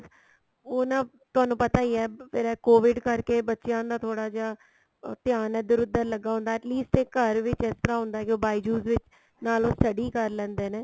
ਉਹ ਨਾ ਤੁਹਾਨੂੰ ਪਤਾ ਈ ਏ ਫੇਰ ਇਹ COVID ਕਰਕੇ ਬੱਚਿਆ ਦਾ ਥੋੜਾ ਜਾ ਧਿਆਨ ਇੱਧਰ ਉੱਧਰ ਲੱਗਾ ਹੁੰਦਾ at least ਇਹ ਘਰ ਵਿੱਚ ਇਸ ਤਰ੍ਹਾਂ ਹੁੰਦਾ ਕੀ ਉਹ bijou's ਵਿੱਚ ਨਾਲ ਉਹ study ਕਰ ਲੈਂਦੇ ਨੇ